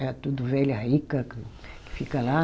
É tudo velha rica que, que fica lá.